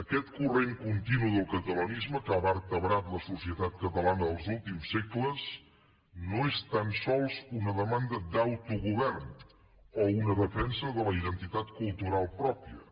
aquest corrent continu del catalanisme que ha vertebrat la societat catalana dels últims segles no és tan sols una demanda d’autogovern o una defensa de la identitat cultu ral pròpia